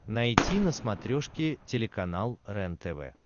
найти на смотрешке телеканал рентв